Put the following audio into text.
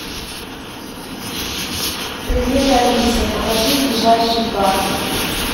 привет алиса покажи ближайший парк